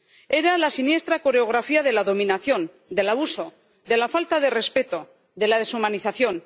Era la siniestra coreografía de la dominación, del abuso, de la falta de respeto, de la deshumanización.